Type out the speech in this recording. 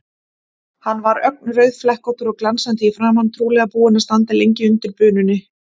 Hann var ögn rauðflekkóttur og glansandi í framan, trúlega búinn að standa lengi undir bununni.